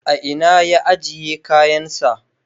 A ina ya ajiye kayansa?